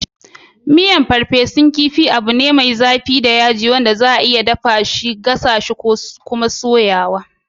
Miyan farfesun kifi abu ne mai zafi da yaji wanda za'a iya dafa shi a gasasshi ko kuma a soya.